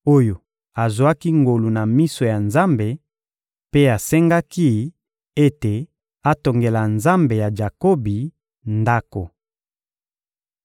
oyo azwaki ngolu na miso ya Nzambe mpe asengaki ete atongela Nzambe ya Jakobi ndako.